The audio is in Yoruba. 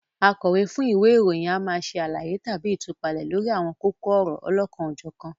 Akọ̀wé fún ìwé ìròyìn a máa ṣe àlàyé tàbí ìtúpalẹ̀ lórí àwọn kókó ọ̀rọ̀ olokan-o-jokan